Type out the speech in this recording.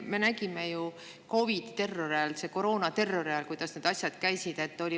Me nägime ju COVID‑i terrori, koroonaterrori ajal, kuidas need asjad käisid.